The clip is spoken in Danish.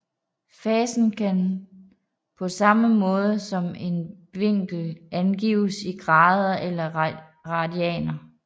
Fasen kan på samme måde som en vinkel angives i grader eller radianer